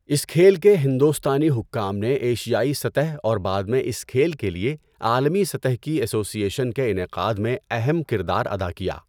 اس کھیل کے ہندوستانی حکام نے ایشیائی سطح اور بعد میں اس کھیل کے لیے عالمی سطح کی ایسوسی ایشن کے انعقاد میں اہم کردار ادا کیا۔